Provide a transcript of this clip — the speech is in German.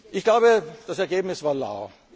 Ich glaube, das Ergebnis war lau.